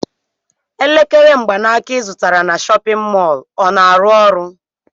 Elekere mgbanaka ị zụtara na chọpịn mọọlụ ọ na-arụ ọrụ?